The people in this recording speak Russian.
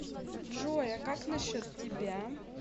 джой а как насчет тебя